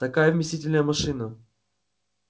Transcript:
такая вместительная машина